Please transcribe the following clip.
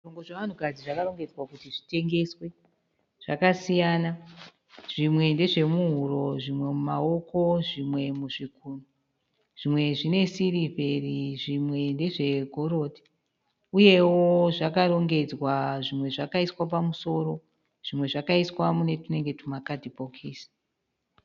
Zvishongo zvevanhukadzi zvakarongedzwa kuti zvitengeswe zvakasiyana zvimwe ndezve muhuro zvimwe mumaoko zvimwe muzvigunwe zvimwe zvine sirivheri zvimwe ndezve gorodhi uyewo zvakarongedzwa zvimwe zvakaiswa pamusoro zvimwe zvakaiswa mune tunenge tuma kadhibhokisi.